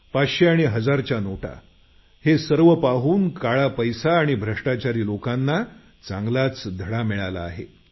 पाचशे आणि हजारच्या नोटा हे सर्व पाहून काळा पैसा आणि भ्रष्टाचारी लोकांना चांगलाच धडा मिळाला आहे